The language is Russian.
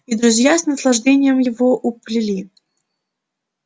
и друзья с наслаждением его уплели